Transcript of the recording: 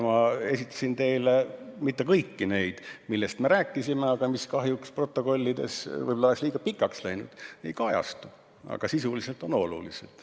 Ma esitasin teile mitte kõike seda, millest me rääkisime ja mis kahjuks protokollides ei kajastu, esitasin seda, mis on sisuliselt oluline.